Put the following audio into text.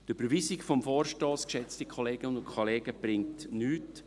Die Überweisung des Vorstosses, geschätzte Kolleginnen und Kollegen, bringt nichts.